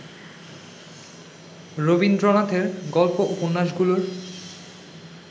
রবীন্দ্রনাথের গল্প উপন্যাসগুলোর